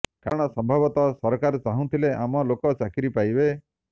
କାରଣ ସମ୍ଭବତଃ ସରକାର ଚାହୁଁଥିଲେ ଆମ ଲୋକେ ଚାକିରି ପାଇବେ